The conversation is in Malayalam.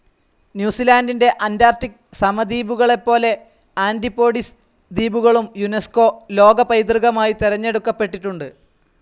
ന്യൂസിലാൻഡിൻ്റെ അന്റാർക്ടിക്‌ സമീപദ്വീപുകളെപ്പോലെ ആൻ്റിപ്പോഡിസ് ദ്വീപുകളും യുനെസ്കോ ലോകപൈതൃകമായി തെരഞ്ഞെടുക്കപ്പെട്ടിട്ടുണ്ട്.